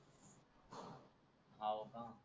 हाव का